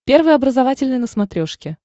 первый образовательный на смотрешке